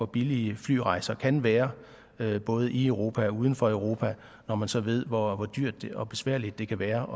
billige flyrejser kan være både i europa og uden for europa når man så ved hvor dyrt og besværligt det kan være